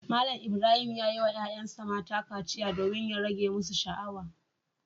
Malam Ibrahim ya yi wa ‘ƴa’ƴansa mata kaciya domin ya rage musu sha’awa.